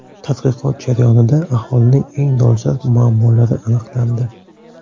Tadqiqot jarayonida aholining eng dolzarb muammolari aniqlandi.